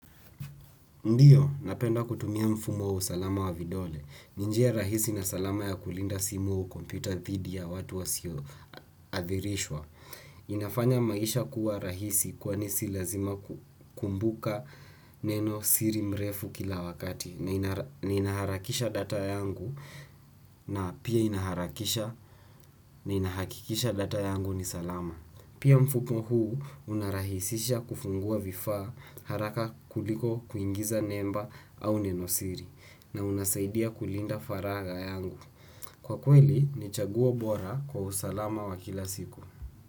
Ndiyo, napenda kutumia mfumo wa usalama wa vidole. Ni njia rahisi na salama ya kulinda simu u kompyuta thidi ya watu wa sio athirishwa. Inafanya maisha kuwa rahisi kwani si lazima kukumbuka neno siri mrefu kila wakati. Na inaharakisha data yangu na pia ninaharakisha na ninahakikisha data yangu ni salama. Pia mfuko huu unarahisisha kufungua vifaa haraka kuliko kuingiza nemba au nenosiri na unasaidia kulinda faraga yangu. Kwa kweli, ni chaguo bora kwa usalama wa kila siku.